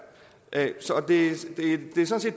jeg